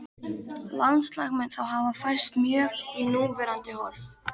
Landslag mun þá hafa færst mjög í núverandi horf.